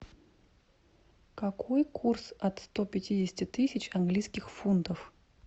какой курс от сто пятидесяти тысяч английских фунтов